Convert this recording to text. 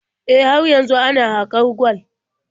E, har yanzu ana haƙar gwal.